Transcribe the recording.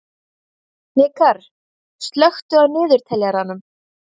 Hnikarr, slökktu á niðurteljaranum.